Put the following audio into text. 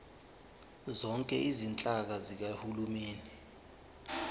zonke izinhlaka zikahulumeni